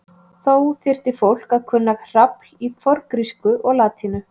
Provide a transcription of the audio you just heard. Þó þyrfti fólk að kunna hrafl í forngrísku og latínu.